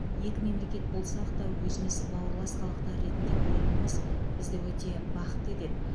екі мемлекет болсақ та өзіміз бауырлас халықтар ретінде көретініміз бізді өте бақытты етеді